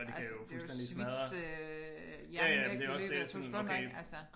Altså det jo svitse øh hjernen væk i løbet af 2 sekunder ik altså